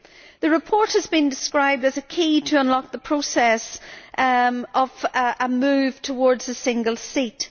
The report has been described as a key to unlock the process of a move towards a single seat.